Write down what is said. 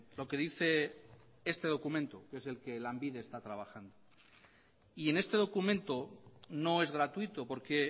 lo que dice este documento que es el que lanbide está trabajando y en este documento no es gratuito porque